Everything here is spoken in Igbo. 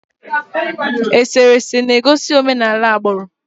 Eserese na-egosi omenala agbụrụ.